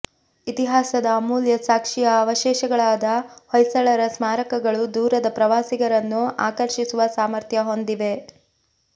ಇತಿಹಾಸದ ಅಮೂಲ್ಯ ಸಾಕ್ಷಿಯ ಆವಶೇಷಗಳಾದ ಹೊಯ್ಸಳರ ಸ್ಮಾರಕಗಳು ದೂರದ ಪ್ರವಾಸಿಗರನ್ನು ಆಕರ್ಷಿಸುವ ಸಾಮರ್ಥ್ಯ ಹೊಂದಿವೆ